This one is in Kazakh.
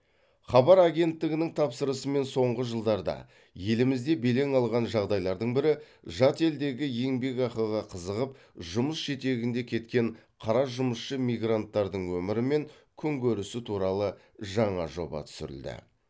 хабар агенттігінің тапсырысымен соңғы жылдарда елімізде белең алған жағдайлардың бірі жат елдегі еңбекақыға қызығып жұмыс жетегінде кеткен қара жұмысшы мигранттардың өмірі мен күнкөрісі туралы жаңа жоба түсірілді